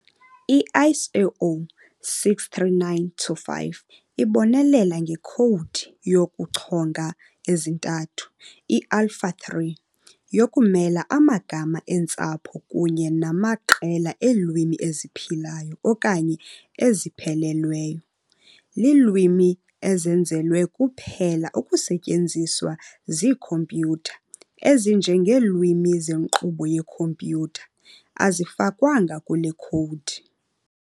I-ISO 639-5 ibonelela ngekhowudi yokuchonga ezintathu, "i-Alpha-3", yokumela amagama eentsapho kunye namaqela eelwimi eziphilayo okanye eziphelelweyo. Iilwimi ezenzelwe kuphela ukusetyenziswa ziikhompyuter, ezinjengeelwimi zenkqubo yekhompyuter, azifakwanga kule khowudi.